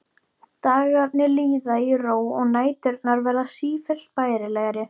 Dagarnir líða í ró og næturnar verða sífellt bærilegri.